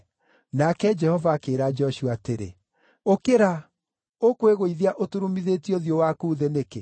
Nake Jehova akĩĩra Joshua atĩrĩ, “Ũkĩra! Ũkwĩgũithia ũturumithĩtie ũthiũ waku thĩ nĩkĩ?